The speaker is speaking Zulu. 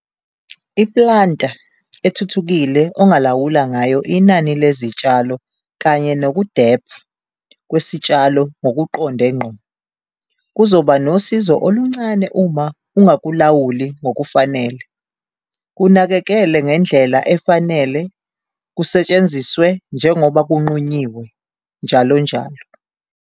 I-planta ethuthukile ongalawula ngayo inani lezitshalo kanye nokudepha kwesitshalo ngokuqonde ngqo, kuzoba nosizo oluncane uma ungakulawuli ngokufanele - kunakekele ngendlela efanele, kusetshenziswe njengoba kunqunyiwe, njalonjalo.